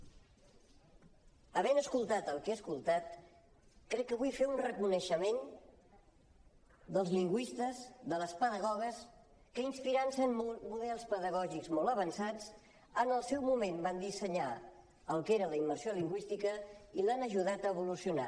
havent escoltat el que he escoltat crec que vull fer un reconeixement dels lingüistes de les pedagogues que inspirant se en models pedagògics molt avançats en el seu moment van dissenyar el que era la immersió lingüística i l’han ajudat a evolucionar